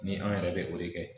Ni an yɛrɛ bɛ o de kɛ